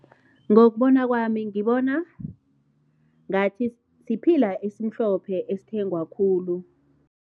Ngokubona kwami, ngibona ngathi siphila esimhlophe esithengwa khulu.